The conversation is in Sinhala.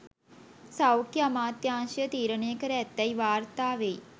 සෞඛ්‍ය අමාත්‍යාංශය තීරණය කර ඇතැයි වාර්තා වෙයි